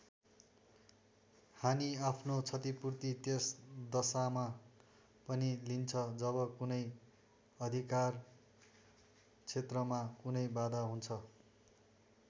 हानि आफ्नो क्षतिपूर्ति त्यस दशामा पनि लिन्छ जब कुनै अधिकार क्षेत्रमा कुनै बाधा हुन्छ।